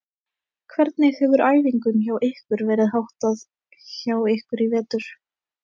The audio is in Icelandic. Hvernig hefur æfingum hjá ykkur verið háttað hjá ykkur í vetur?